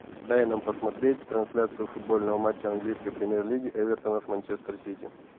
дай нам посмотреть трансляцию футбольного матча английской премьер лиги эвертона с манчестер сити